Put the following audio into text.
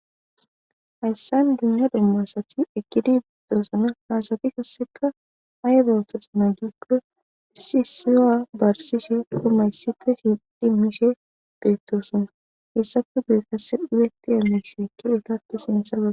Hayssan dunya domma asati ekidi beetoosana naasati kasseka aye bawutasa na gikoo issi isiyoa barsishe qumayssife siidimishe beettoosona heessafe gu'e kasse dhuyeti emmishe ekkietatta sinthaaa.